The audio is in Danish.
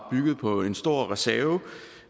at bygge på en stor reserve